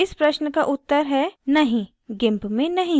इस प्रश्न का उत्तर है नहीं gimp में नहीं है